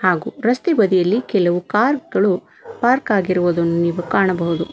ಹಾಗೂ ರಸ್ತೆ ಬದಿಯಲ್ಲಿ ಕೆಲವು ಕಾರ್ ಗಳು ಪಾರ್ಕ್ ಆಗಿರುವುದು ನೀವು ಕಾಣಬಹುದು.